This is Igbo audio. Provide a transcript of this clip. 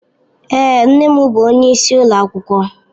Èé, nne m bụ onyeisi ụlọ akwụkwọ.